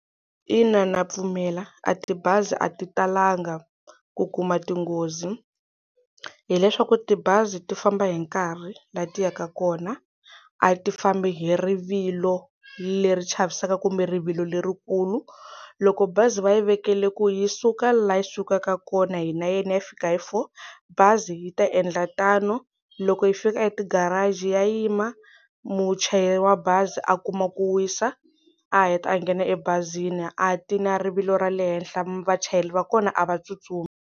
Ina na pfumela a tibazi a ti talanga ku kuma tinghozi hileswaku tibazi ti famba hi nkarhi laha ti yaka kona a ti fambi hi rivilo leri chavisaka kumbe rivilo lerikulu loko bazi va yi vekela ku yi suka la yi sukaka kona hi nayeni yi ya fika hi four bazi yi ta endla tano loko yi fika e ti-gaage ya yima muchayeri wa bazi a kuma ku wisa a heta a nghena ebazini a ti na rivilo ra le henhla vachayeri va kona a va tsutsumi.